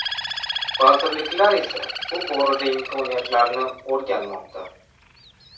Vazirliklar esa bu borada imkoniyatlarni o‘rganmoqda.